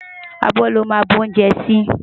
Abò lò má nbú oúnjè si